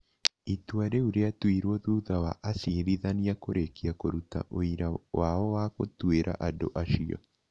Itua rĩu rĩatuirũo thutha wa acirithania kũrĩkia kũruta ũira wao wa gũtuĩra andũ acio.